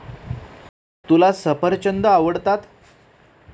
तुला सफरचंद आवडतात.